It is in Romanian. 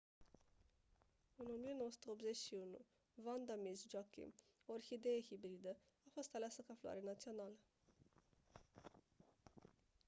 în 1981 vanda miss joaquim o orhidee hibridă a fost aleasă ca floare națională